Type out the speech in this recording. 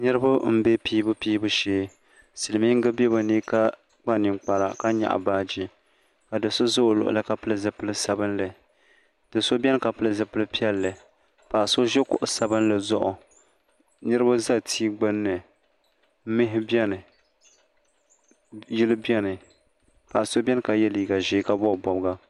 niriba n bɛ pɛbupɛbu shɛɛ zupiligu bɛ be ni ka kpa nɛkpara ka nyɛga baaji ma do so za o luɣili ka pɛli zipɛli sabinli do so bɛni ka pɛli zibilipiɛlli paɣ' so ʒɛ kuɣ' sabinli zuɣ niriba za ti gbani mɛhi bɛni yili bɛ paɣ' so bɛni la yɛ liga ʒiɛ ka bobi bobiʒiɛ